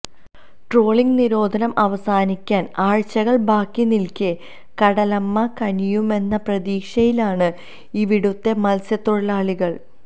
trawling നിരോധനം അവസാനിക്കാന് ആഴ്ചകള് ബാക്കിനില്ക്കെ കടലമ്മ കനിയുമെന്ന പ്രതീക്ഷയിലാണ് ഇവിടുത്തെ മത്സ്യതൊഴിലാളികള്